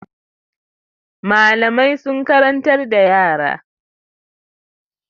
Malamai sun karantar da yara.